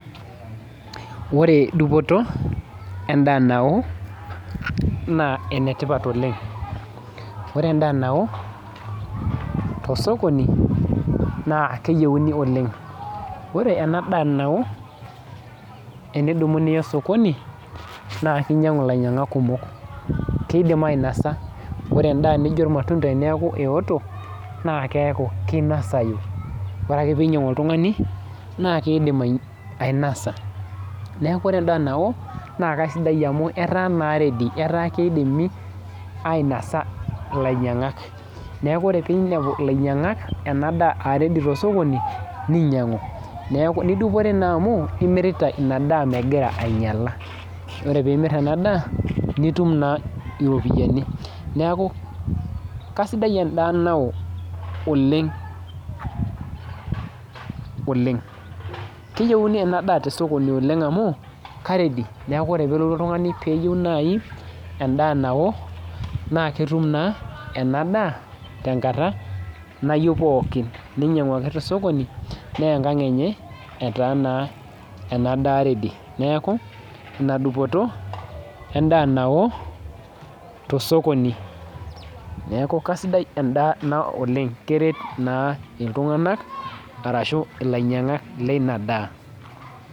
Ore dupoto endaa nao, naa enetipat oleng. Ore endaa nao, tosokoni naa keyieuni oleng. Ore enadaa nao, enidumu niya osokoni, naa kinyang'u ilainyang'ak kumok. Kidim ainasa. Ore endaa nijo irmatunda eneeku eoto, na keeku kinosayu. Ore ake pinyang'u oltung'ani, naa kiidim ainasa. Neeku ore endaa nao, naa kasidai amu etaa naa ready. Etaa kidimi ainasa ilainyang'ak. Neeku ore pinepu ilainyang'ak enadaa ah ready tosokoni, ninyang'u. Neku nidupore naa amu imirita inadaa megira ainyala. Ore pimir enadaa, nitum naa iropiyiani. Neeku kasidai endaa nao oleng oleng. Keyieuni enadaa tesokoni amu, ka ready. Neeku ore pelotu oltung'ani peyieu nai endaa nao, naa ketum naa enadaa tenkata nayieu pookin. Ninyang'u ake tosokoni, neya enkang enyenl etaa naa enadaa ready. Neeku, ina dupoto endaa nao, tosokoni. Neeku kasidai endaa nao oleng, keret naa iltung'anak arashu ilainyang'ak leina daa.